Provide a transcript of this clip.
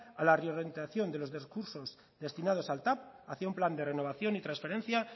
a la reorientación de los recursos destinados al tav hacia un plan de renovación y transferencia